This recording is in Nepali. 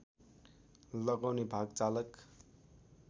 लगाउने भाग चालक